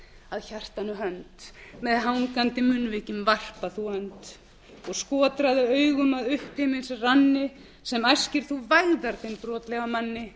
að hjartanu hönd með hangandi munnvikin varpa þú önd og skotraðu augum að upphimins ranni sem æskir þú velferð þeim brotlega manni